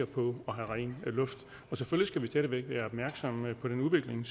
have ren luft selvfølgelig stadig væk være opmærksomme på den udvikling